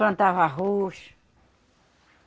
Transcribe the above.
Plantava arroz.